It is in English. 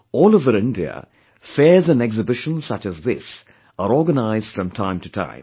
All over India, fairs & exhibitions such as this are organized from time to time